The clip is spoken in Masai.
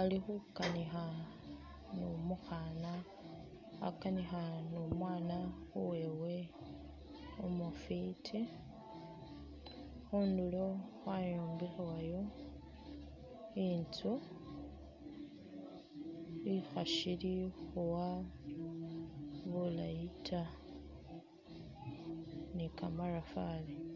ali khukanikha ni umwaana uwewe umufwiti. Khundulo khwayombekhebwayo inzu, ishili khuwa bulayi ta ni kamatafari.